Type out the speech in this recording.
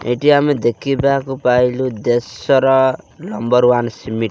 ଏଇଠି ଆମେ ଦେଖିବାକୁ ପାଇଲୁ ଦେଶର ନମ୍ବର ୱାନ୍ ସିମିଟ୍ ।